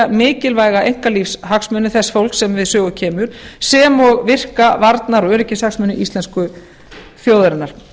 mikilvæga einkalífshagsmuni þess fólks sem við sögu kemur sem og virka varnar og öryggishagsmuni íslensku þjóðarinnar